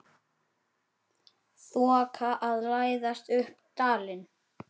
Þoka að læðast upp dalinn.